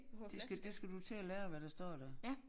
Det skal det skal du til at lære hvad der står der